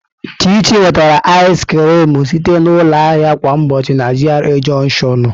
Chichi nwetara ịz krịm site na ụlọ ahịa kwa ụbọchị na GRA Jọnshịọn.